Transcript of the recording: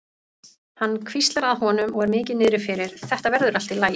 Hann hvíslar að honum og er mikið niðri fyrir: Þetta verður allt í lagi.